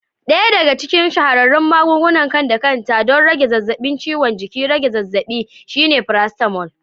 Ɗaya daga cikin shahararrun magungunan kan-da-kanta don rage zafin ciwon jiki da rage zazzabi shine paracetamol.